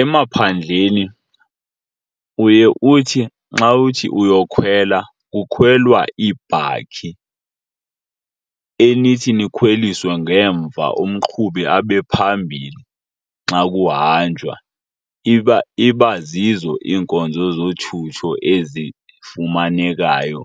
Emaphandleni uye uthi nxa uthi uyokhwela kukhwelwa iibhakhi enithi nikhweliswe ngemva umqhubi abe phambili xa kuhanjwa. Iba, iba zizo iinkonzo zothutho ezifumanekayo